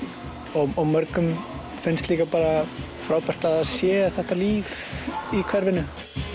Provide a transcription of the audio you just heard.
og mörgum finnst líka frábært að það sé þetta líf í hverfinu